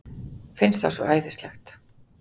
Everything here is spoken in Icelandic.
Finnst það svo æðislegt.